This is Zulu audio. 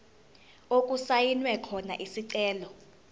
okusayinwe khona isicelo